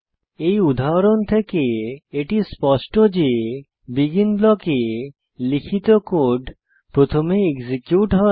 এই উদাহরণ থেকে এটি স্পষ্ট যে বেগিন ব্লকে লিখিত কোড প্রথমে এক্সিকিউট হয়